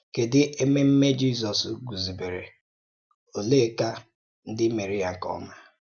Kèdù èmèmè Jízọ́s guzòbèrè, ọ̀lèékà ǹdí méré ya nke ọ́má?